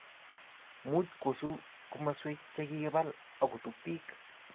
much kosuu komoswek che kikibal akutub biik